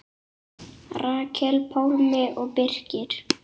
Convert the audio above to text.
Rakel, Pálmi og Birkir.